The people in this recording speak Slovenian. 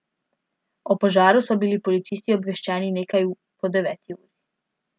O požaru so bili policisti obveščeni nekaj po deveti uri.